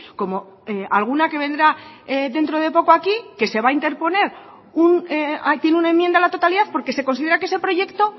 como alguna que vendrá dentro de poco aquí que se va a interponer tiene una enmienda a la totalidad porque se considera que ese proyecto